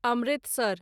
Amritsar